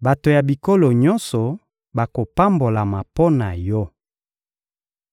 «Bato ya bikolo nyonso bakopambolama mpo na yo.»